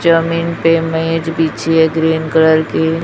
जमीन पे मैट बिछि है ग्रीन कलर की।